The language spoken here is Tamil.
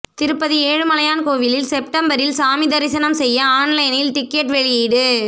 திருப்பதி ஏழுமலையான் கோயிலில் செப்டம்பரில் சாமி தரிசனம் செய்ய ஆன்லைனில் டிக்கெட் வெளியீடு